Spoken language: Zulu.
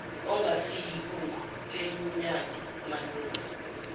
ongasiyilungu lenyunyane malunga